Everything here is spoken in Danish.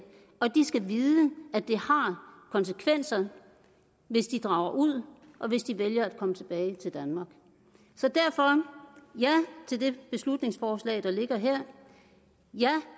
og de skal vide at det har konsekvenser hvis de drager ud og hvis de vælger at komme tilbage til danmark så derfor ja til det beslutningsforslag der ligger her ja